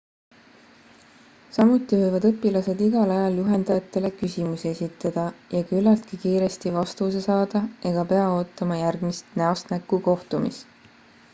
samuti võivad õpilased igal ajal juhendajatele küsimusi esitada ja küllaltki kiiresti vastuse saada ega pea ootama järgmist näost näkku kohtumist